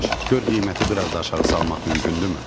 gör qiyməti bir az da aşağı salmaq mümkündürmü?